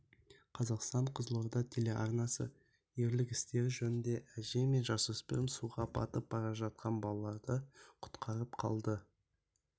қазақстан-қызылорда телеарнасы ерлік істері жөнінде әже мен жасөспірім суға батып бара жатқан балаларды құтқарып қалды